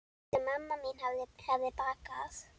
Sem mamma mín hefði bakað.